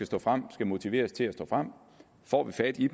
stå frem skal motiveres til at stå frem får vi fat i